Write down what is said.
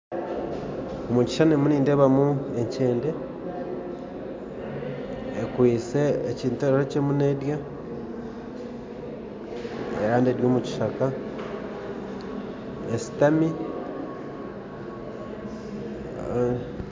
Omukishishani nindeebamu enkyende ekwitse ekintu eki erikurya, kandi eri omukishaka eshutami